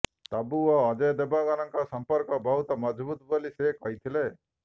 ତବ୍ବୁ ଓ ଅଜୟ ଦେବଗନଙ୍କ ସଂପର୍କ ବହୁତ ମଜବୁତ ବୋଲି ସେ କହିଥିଲେ